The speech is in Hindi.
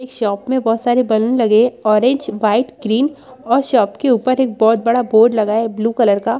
एक शॉप में बहुत सारे बनून लगे ऑरेंज वाइट ग्रीन और शॉप के ऊपर एक बहुत बड़ा बोर्ड लगा है ब्लू कलर का।